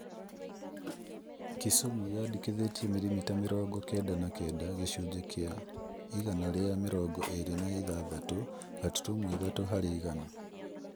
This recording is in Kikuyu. Kisumu yandĩkithirie mirimita mĩrongo kenda na kenda (gĩcunjĩ kĩa igana rĩa mĩrongo ĩrĩ na ithathatũ gaturumo ithatũ harĩ igana)